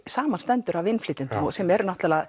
samanstendur af innflytjendum sem eru náttúrulega